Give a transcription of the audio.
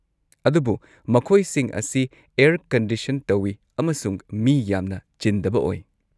ꯑꯗꯨꯕꯨ ꯃꯈꯣꯏꯁꯤꯡ ꯑꯁꯤ ꯑꯦꯔ ꯀꯟꯗꯤꯁꯟ ꯇꯧꯋꯤ ꯑꯃꯁꯨꯡ ꯃꯤ ꯌꯥꯝꯅ ꯆꯤꯟꯗꯕ ꯑꯣꯏ꯫